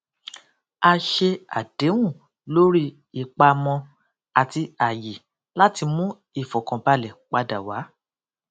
a ṣe àdéhùn lórí ìpamọ àti àyè láti mú ìfòkànbalẹ padà wá